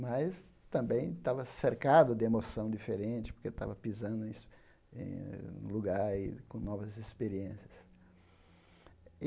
Mas também estava cercado de emoção diferente, porque estava pisando em em no lugar e com novas experiências.